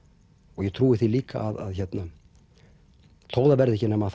og ég trúi því líka þó það verði ekki nema